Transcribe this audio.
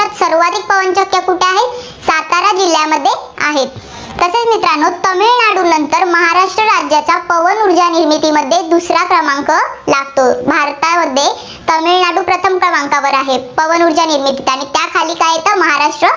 जिल्ह्यामध्ये आहेत. तसेच मित्रांनो तामिळनाडूनंतर महाराष्ट्र राज्याचा पवन ऊर्जा निर्मितीमध्ये दुसरा क्रमांक लागतो. भारतामध्ये तामिळनाडू प्रथम क्रमांकावर आहे, पवन ऊर्जा निर्मितीत. आणि त्याखाली काय येतं, महाराष्ट्र